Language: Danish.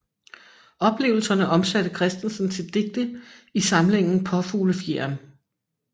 Oplevelserne omsatte Kristensen til digte i samlingen Paafuglefjeren